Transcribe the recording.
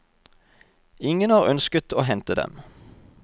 Ingen har ønsket å hente dem.